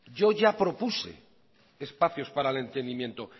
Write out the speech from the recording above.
yo ya propuse espacios para el entendimiento